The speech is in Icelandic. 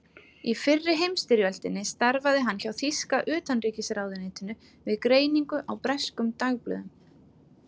Í fyrri heimsstyrjöldinni starfaði hann hjá þýska utanríkisráðuneytinu við greiningu á breskum dagblöðum.